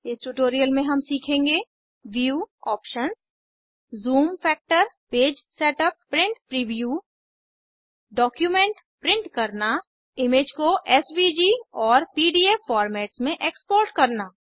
इस ट्यूटोरियल में हम सीखेंगे view options zoom factor page setup print preview document print करना इमेज को एसवीजी और पीडीएफ फोर्मेट्स में एक्सपोर्ट करना